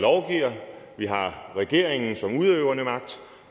vi har regeringen som udøvende magt